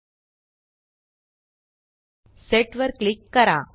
set set वर click करा